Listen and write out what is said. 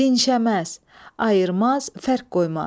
Dinşəməz, ayırmaz, fərq qoymaz.